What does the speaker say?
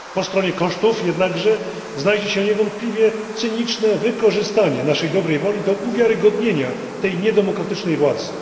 Po stronie kosztów jednakże znajdzie się niewątpliwie cyniczne wykorzystanie naszej dobrej woli do uwiarygodnienia tej niedemokratycznej władzy.